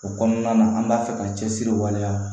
O kɔnɔna na an b'a fɛ ka cɛsiri waleya